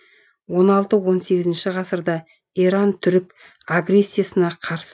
он алты он сегізінші ғасырда иран түрік агрессиясына қарсы